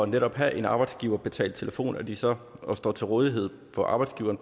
netop at have en arbejdsgiverbetalt telefon altså at de så står til rådighed for arbejdsgiveren